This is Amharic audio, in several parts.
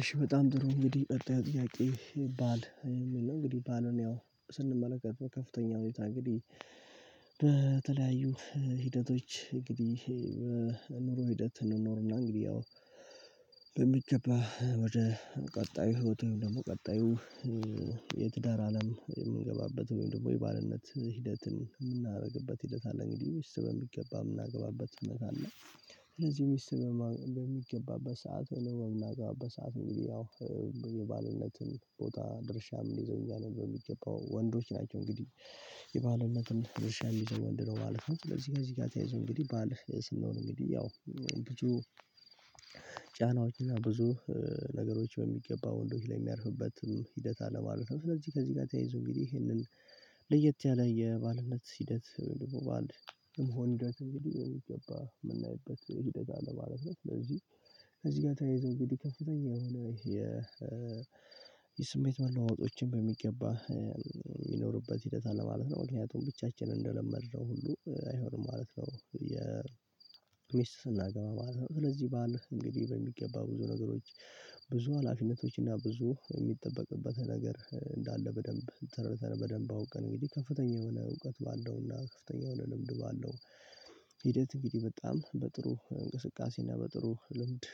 እሺ በጣም ጥሩ እንግዲህ ጥያቄ ይባል የምንለው እንግዲህ ባልን ያው ስንመለከተው ከፍተኛ ሁኔታ እንግዲህ በተለያዩ ሂደቶች እንግዲህ በኑሮ ሂደት እንኖርና እንግዲህ ያው በሚገባ ወደ ቀጣዩ ህይወትን ደግሞ ቀጣዩ የትዳር አለም የምንገባበት ወይም ደግሞ የባርነት ሂደት የምናደርግበት ሂደት አለ እንግዲህ ወስነን በሚገባ የምናገባበት ሁኔታ አለ። ስለዚህ ሚስት በሚገባበት ሰዓት ወይም በምናገባበት ሰዓት እንግዲህ የባልነትን ቦታ ድርሻም የምኝዘው ነው በሚገባው ወንዶች ናቸው እንግዲህ የባልነትን ድርሻ የሚዘው ወንድ ነው ማለት ነው። ለዚህ ከእዚህ ጋር ተያይዞ እንግዲህ ባል ስንሆን እንግዲህ ያው ጫናዎች እና ብዙ ነገሮች በሚገባ ወንዶች ላይ የሚያርፍበትን ሂደት አለ ማለት ነው። ስለዚህ ከዚህ ጋር ተያይዞ እንግዲህ ይሄንን ለየት ያለ የባልነት ሂደት ደግሞ ባል የመሆን ሂደት እንግዲህ በሚገባ የምናይበት ሂደት አለ ለማለት ነው። ስለዚህ እዚህ ጋር ተያይዞ እንግዲህ ከፍተኛ የሆነ የ የስሜት መለዋወጦችን በሚገባ የሚኖርበት ሂደት አለ ማለት ነው። ምክንያቱም ብቻችንን እንደለመደው ሁሉ አይሆንም ማለት ነው የሚስት ስናገባ ማለት ነው። ስለዚህ በዓል እንግዲህ በሚገባ ብዙ ነገሮች ብዙ ሀላፊነቶች እና ብዙ የሚጠበቅበት ነገር እንዳለ በደንብ ተረድተን በደንብ አውቀን እንግዲህ ከፍተኛ የሆነ እውቀት ባለውና ከፍተኛ የሆነ ልምድ ባለው ሂደት እንግዲህ በጣም በጥሩ እንቅስቃሴ እና በጥሩ ልምድ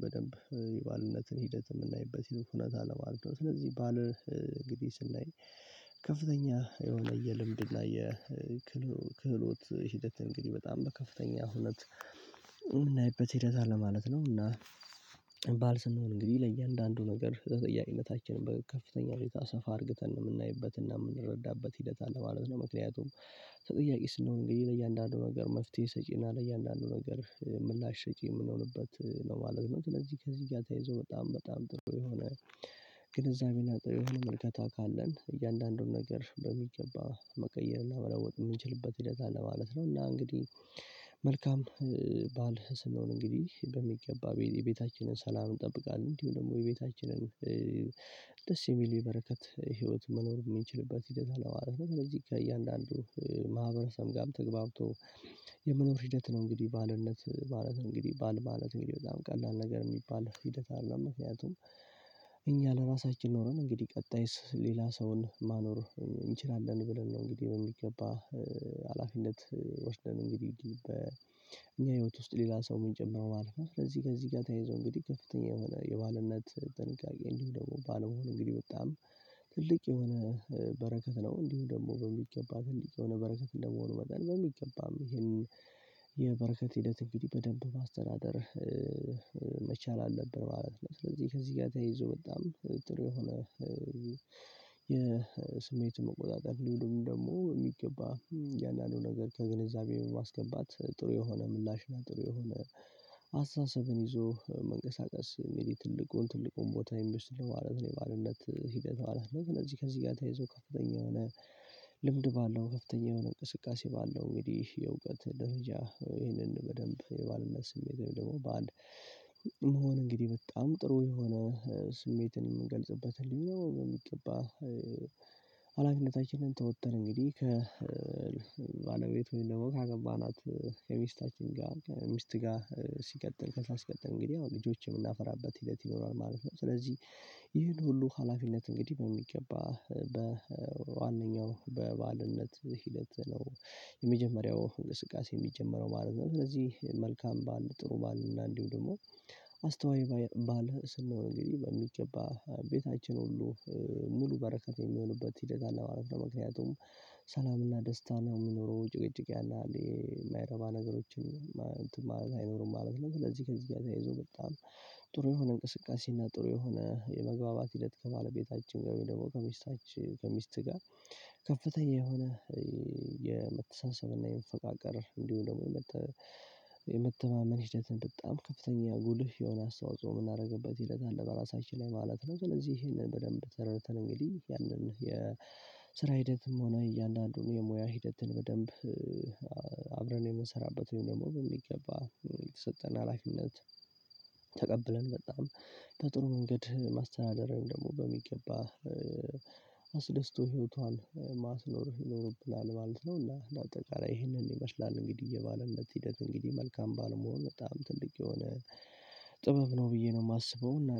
በደንብ የባልነትን ሂደት የምናይበት ሂድ እውነት አለ ማለት ነው። ስለዚህ ባል እንግዲህ ስናይ ከፍተኛ የሆነ የልምድ እና የክህሎት ሂደት እንግዲህ በጣም በከፍተኛ ሁኔታ የምናይበት ሂደት አለ ማለት ነው። እና ባል ስንሆን እንግዲህ ለእያንዳንዱ ነገር ተጠያቂነታችን በከፍተኛ ቦታ ሰፋ አድርገን የምናይበት እና የምንረዳበት ሂደት አለ ማለት ነው። ምክንያቱም ተጠያቂ ስንሆን እንግዲህ ለእያንዳንዱ ነገር መፍትሄ ሰጪና ለእያንዳንዱ ነገር ምላሽ ሰጪ የምንሆንበት ነው ማለት ነው። ለዚህ ከዚህ ጋር ተይዞ በጣም በጣም ጥሩ የሆነ ግንዛቤና የሆነ መልከታ ካለን እያንዳንዱን ነገር በሚገባ መቀየርና መለወጥ የምንችልበት ሂደት አለ ማለት ነው። እና እንግዲህ መልካም ባል ስንሆን እንግዲህ በሚገባ የቤታችንን ሰላም እንጠብቃለን እንዲሁ ደግሞ የቤታችንን ደስ የሚል የበረከት ህይወት መኖር የምንችልበት ሂደት አለ ማለት ነው። ስለዚህ ከእያንዳንዱ ማህበረሰብ ጋርም ተግባብቶ የመኖር ሂደት ነው። እንግዲህ ባልነት ማለት እንግዲህ ባል ማለት እንግዲህ በጣም ቀላል ነገር የሚባል ሂደት አይደለም። ምክንያቱም እኛ ለራሳችን ኖረን እንግዲህ ቀጣይስ ሌላ ሰውን ማኖር እንችላለን ብለን ነው እንግዲህ በሚገባ ሀላፊነት ወስደን እንግዲህ በእኛ ህይወት ውስጥ ሌላ ሰው የምንጨምረው ማለት ነው። ስለዚህ ከዚህ ጋር ተያይዞ እንግዲህ ከፍተኛ የሆነ የባልነት ጥንቃቄ እንዲሁም ደግሞ ባል መሆን እንግዲህ በጣም ትልቅ የሆነ በረከት ነው። እንዲሁም ደግሞ በሚገባ ትልቅ የሆነ በረከት እንደመሆኑ መጠን በሚገባም ይሄንን የበረከት ሂደት እንግዲህ በደንብ ማስተናደር መቻል አለብን ማለት ነው። ስለዚህ ከዚህ ጋር ተይዞ በጣም ጥሩ የሆነ የስሜቱን መቆጣጠር እንዲሁም ደግሞ በሚገባ እያንዳንዱን ነገር ከግንዛቤ በማስገባት ጥሩ የሆነ ምላሽ ናት ጥሩ የሆነ አስተሳሰብን ይዞ መንቀሳቀስ ለኔ ትልቁን ትልቁን ቦታ የሚወስድ ነው ማለት ነው። የባልነት ሂደት ማለት ነው ስለዚህ ከዚህ ጋር ተያይዞ ከፍተኛ የሆነ ልምድ ባለው ከፍተኛ የሆነ እንቅስቃሴ ባለው እንግዲህ የእውቀት ደረጃ ይህንን በደንብ የባልነት ስሜት ወይም ደግሞ ባል መሆን እንግዲህ በጣም ጥሩ የሆነ ስሜትን የምንገልጽበት ህልም ነው። የሚገባ አላፊነታችንን ተወጥተን እንግዲህ ከ ከባለቤት ወይም ደግሞ ካገኘናት ከሚስታችን ጋር ሚስት ጋር ሲቀጥል ከዛ ሲቀጥል እንግዲህ አሁን ልጆችን የምናፈራበት ሂደት ይኖራል ማለት ነው። ስለዚህ ይህን ሁሉ ሀላፊነት እንግዲህ በሚገባ በዋነኛው በባልነት ሂደት ነው የመጀመሪያው እንቅስቃሴ የሚጀመረው ማለት ነው። ስለዚህ መልካም ባል ጥሩ ባለ እና እንዲሁ ደግሞ አስተዋይ ባል ስንሆን እንግዲህ በሚገባ ቤታችን ሁሉ ሙሉ በረከት የሚሆኑበት ሂደት አለ ማለት ነው። ምክንያቱም ሰላምና ደስታ ነው የሚኖረው ጭቅጭቅ ያን ያህል የማይረባ ነገሮችን እንትን ማለት አይኖርም ማለት ነው። ስለዚህ ከዚህ ጋር ተይዞ በጣም ጥሩ የሆነ እንቅስቃሴ እና ጥሩ የሆነ የመግባባት ሂደት ከባለቤታችን ወይም ደግሞ ከሚስታችን ከሚስት ጋር ከፍተኛ የሆነ የመተሳሰብና የመፈቃቀር እንዲሁ ደግሞ የመተማመን ሂደትን በጣም ከፍተኛ ጉልህ የሆነ አስተዋጽኦ የምናደርግበት ሂደት አለ በራሳችን ላይ ማለት ነው። ስለዚህ ይሄንን በደንብ ተረድተን እንግዲህ ያንን የስራ ሂደትም ሆነ እያንዳንዱን የሙያ ሂደትን በደንብ አብረን የምንሰራበት ወይም ደግሞ በሚገባ የተሰጠን ሀላፊነት ተቀብለን በጣም በጥሩ መንገድ ማስተዳደር ወይም ደግሞ በሚገባ አስደስቶ ህይወቷን ማስኖር ይኖርብናል ማለት ነው። እና አጠቃላይ ይህንን ይመስላል እንግዲህ የባልነት ሂደት እንግዲህ መልካም ባል መሆን በጣም ትልቅ የሆነ ጥበብ ነው። ብዬ ነው የማስበው